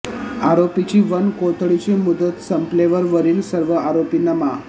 आरोपीची वन कोठडीची मुदत संपलेवर वरील सर्व आरोपींना मा